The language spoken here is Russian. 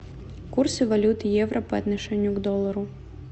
курсы валют евро по отношению к доллару